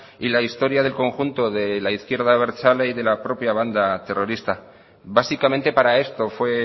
y la historia del conjunto de la izquierda abertzale y de la propia banda terrorista básicamente para esto fue